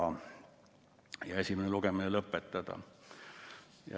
Tehti ettepanek esimene lugemine lõpetada.